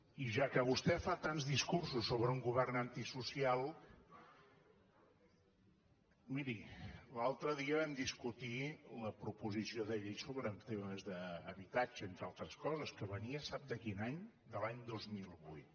i ja que vostè fa tants discursos sobre un govern antisocial miri l’altre dia vam discutir la proposició de llei sobre temes d’habitatge entre altres coses que venia sap de quin any de l’any dos mil vuit